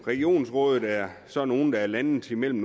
regionsrådet er så nogle der er landet mellem